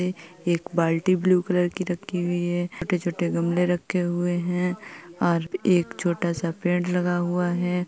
एक बाल्टी blue colour की रखी हुई है छोटे-छोटे गमले रखें हुए हैं और एक छोटा सा पेड़ लगा हुआ है।